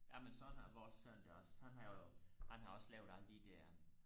jamen sådan har vores søn det også han har jo han har også lavet alle de der